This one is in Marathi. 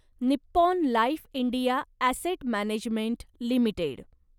Nippon Life India Asset Management limited